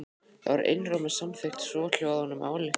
Þar var einróma samþykkt svohljóðandi ályktun